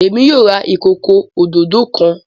Èmi yóò rà ìkọkọ òdodo kán.